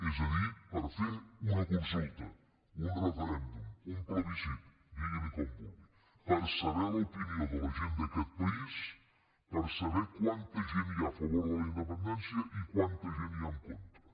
és a dir per fer una consulta un referèndum un plebiscit diguinne com vulgui per saber l’opinió de la gent d’aquest país per saber quanta gent hi ha a favor de la independència i quanta gent hi ha en contra